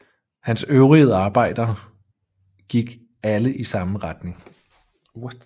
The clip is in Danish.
Hans øvrige arbejder gik alle i samme retning